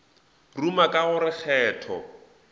ruma ka go re kgetho